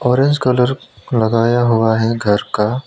orange colour लगाया हुआ है घर का--